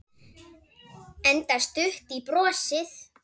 Enda stutt í brosið.